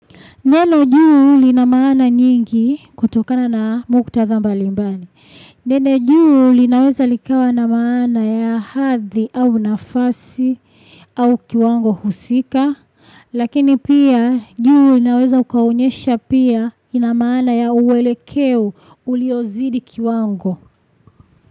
Neno juu lina maana nyingi kutokana na muktadha mbalimbali. Neno juu linaweza likawa na maana ya hadhi au nafasi au kiwango husika. Lakini pia juu linaweza likaonyesha pia lina maana ya uelekeo uliozidi kiwango.